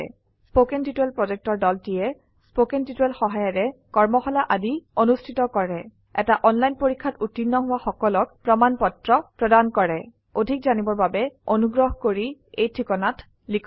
কথন শিক্ষণ প্ৰকল্পৰ দলটিয়ে কথন শিক্ষণ সহায়িকাৰে কৰ্মশালা আদি অনুষ্ঠিত কৰে এটা অনলাইন পৰীক্ষাত উত্তীৰ্ণ হোৱা সকলক প্ৰমাণ পত্ৰ প্ৰদান কৰে অধিক জানিবৰ বাবে অনুগ্ৰহ কৰি contactspoken tutorialorg এই ঠিকনাত লিখক